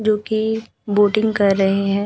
जो की बोटिंग कर रहे हैं।